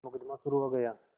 मुकदमा शुरु हो गया